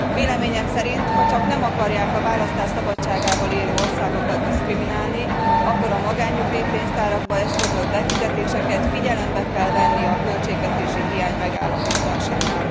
Véleményem szerint, hacsak nem akarják a választás szabadságával élő országokat diszkriminálni, akkor a magánnyugdíjpénztárakba eszközölt befizetéseket figyelembe kell venni a költségvetési hiány megállapításánál.